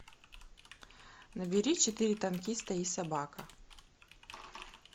набери четыре танкиста и собака